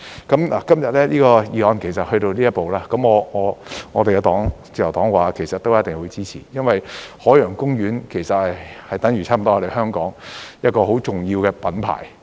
今天《條例草案》來到這一步，我們自由黨其實一定會支持，因為海洋公園其實差不多是香港一個很重要的品牌。